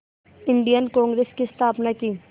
Indian Congress की स्थापना की